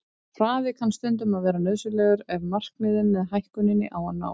Hraði kann stundum að vera nauðsynlegur ef markmiðið með hækkuninni á að nást.